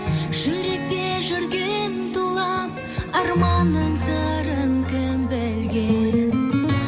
жүректе жүрген тулап арман аңсарын кім білген